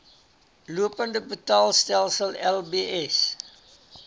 lopende betaalstelsel lbs